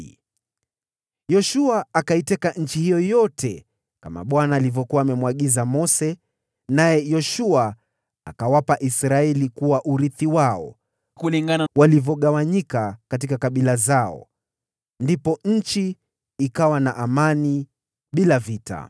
Hivyo Yoshua akaiteka nchi hiyo yote kama vile Bwana alivyokuwa amemwagiza Mose, naye Yoshua akawapa Israeli kuwa urithi wao, kulingana na walivyogawanyika katika kabila zao. Ndipo nchi ikawa na amani bila vita.